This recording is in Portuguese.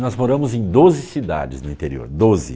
Nós moramos em doze cidades no interior, doze.